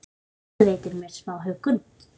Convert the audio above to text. Það veitir mér smá huggun.